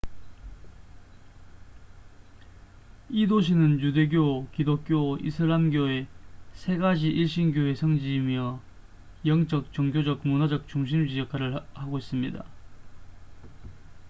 이 도시는 유대교 기독교 이슬람교의 세 가지 일신교의 성지이며 영적 종교적 문화적 중심지 역할을 하고 있습니다